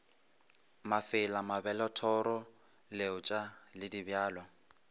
mafela mabelethoro leotša le dibjalo